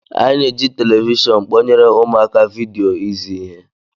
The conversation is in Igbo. Anyị na-eji telivishọn kpọnyere ụmụaka vidio izi ihe